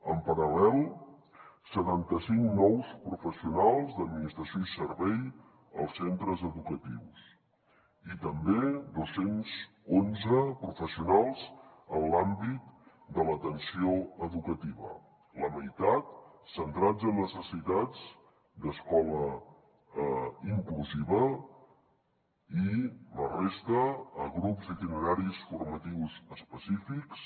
en paral·lel setanta cinc nous professionals d’administració i servei als centres educatius i també dos cents i onze professionals en l’àmbit de l’atenció educativa la meitat centrats en necessitats d’escola inclusiva i la resta a grups d’itineraris formatius específics